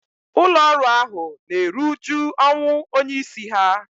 ụlọ ọrụ ahu na-eru uju ọnwụ onye isi ha